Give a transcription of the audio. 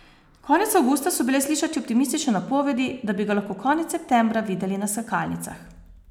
Konec avgusta so bile slišati optimistične napovedi, da bi ga lahko konec septembra videli na skakalnicah.